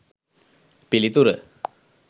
පිළිතුර